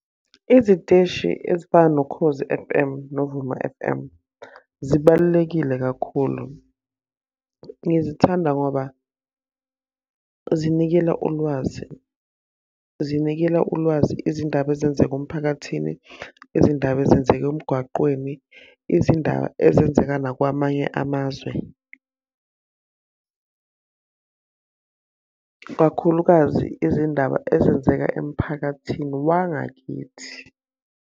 Iziteshi ezifana noKhozi F_M noVuma F_M, zibalulekile kakhulu. Ngizithanda ngoba zinikela ulwazi, zinikela ulwazi izindaba ezenzeka emphakathini, izindaba ezenzeka emgwaqweni, izindaba ezenzeka nakwamanye amazwe. Kakhulukazi izindaba ezenzeka emphakathini wangakithi.